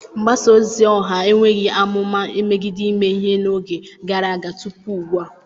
Mgbasa ozi ọha enweghị amụma megide ime ihe n'oge gara aga tupu ugbu a.